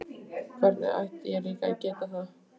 Hvernig ætti ég líka að geta það?